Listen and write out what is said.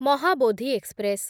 Mahabodhi express